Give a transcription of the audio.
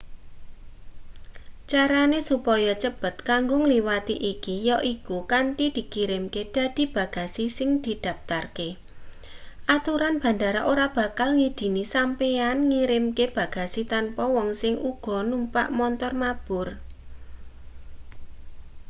carane supaya cepet kanggo ngliwati iki yaiku kanthi dikirimke dadi bagasi sing didaptarke aturan bandara ora bakal ngidini sampeyan ngirimkr bagasi tanpa wong sing uga numpak montor mabur